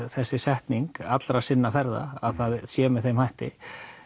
þessi setning allra sinna ferða að það sé með þeim hætti